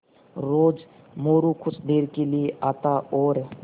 रोज़ मोरू कुछ देर के लिये आता और